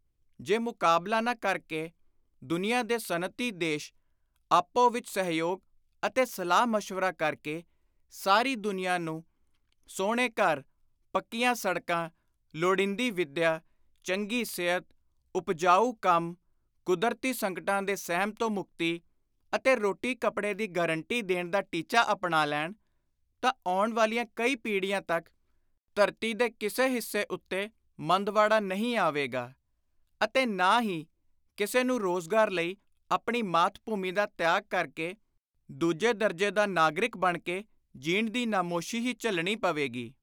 ਜੇ ਮੁਕਾਬਲਾ ਨਾ ਕਰ ਕੇ ਦੁਨੀਆਂ ਦੇ ਸਨਅਤੀ ਦੇਸ਼ ਆਪੋ ਵਿਚ ਸਹਿਯੋਗ ਅਤੇ ਸਲਾਹ ਮਸ਼ਵਰਾ ਕਰ ਕੇ ਸਾਰੀ ਦੁਨੀਆਂ ਨੂੰ ਸੁਹਣੇ ਘਰ, ਪੱਕੀਆਂ ਸੜਕਾਂ, ਲੋੜੀਂਦੀ ਵਿੱਦਿਆ, ਚੰਗੀ ਸਿਹਤ, ਉਪਜਾਉ ਕੰਮ, ਕੁਦਰਤੀ ਸੰਕਟਾਂ ਦੇ ਸਹਿਮ ਤੋਂ ਮੁਕਤੀ ਅਤੇ ਰੋਟੀ ਕੱਪੜੇ ਦੀ ਗਾਰੰਟੀ ਦੇਣ ਦਾ ਟੀਚਾ ਅਪਣਾ ਲੈਣ ਤਾਂ ਆਉਣ ਵਾਲੀਆਂ ਕਈ ਪੀੜ੍ਹੀਆਂ ਤਕ ਧਰਤੀ ਦੇ ਕਿਸੇ ਹਿੱਸੇ ਉੱਤੇ ਮੰਦਵਾੜਾ ਨਹੀਂ ਆਵੇਗਾ ਅਤੇ ਨਾ ਹੀ ਕਿਸੇ ਨੂੰ ਰੋਜ਼ਗਾਰ ਲਈ ਆਪਣੀ ਮਾਤ-ਭੂਮੀ ਦਾ ਤਿਆਗ ਕਰ ਕੇ ਦੂਜੇ ਦਰਜੇ ਦਾ ਨਾਗਰਿਕ ਬਣ ਕੇ ਜੀਣ ਦੀ ਨਮੋਸ਼ੀ ਹੀ ਝੱਲਣੀ ਪਵੇਗੀ।